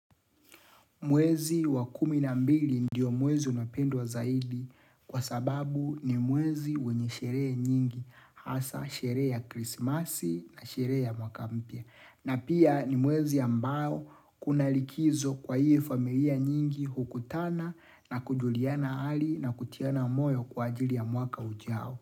Mwezi wa kumi na mbili ndiyo mwezi unapendwa zaidi kwa sababu ni mwezi wenye sherehe nyingi hasa sheree ya krisimasi na sheree ya mwaka mpya. Na pia ni mwezi ambao kuna likizo kwa hie familia nyingi hukutana na kujuliana hali na kutiana moyo kwa ajili ya mwaka ujao.